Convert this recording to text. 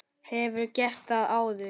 Hefurðu gert það áður?